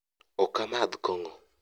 okamadh kong'o